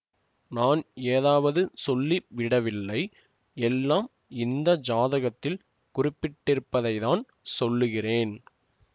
நான் ஏதாவது சொல்லி விடவில்லை எல்லாம் இந்த ஜாதகத்தில் குறிப்பிட்டிருப்பதைத்தான் சொல்லுகிறேன்